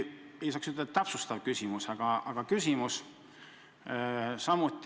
Ei saa öelda, et täpsustav küsimus, lihtsalt küsimus.